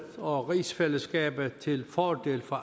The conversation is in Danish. og rigsfællesskabet til fordel for